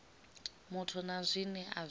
muthu na zwine a zwi